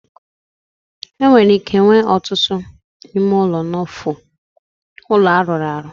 E nwere ike inwe otutu ime ulo n'ofu ulo aruru aru.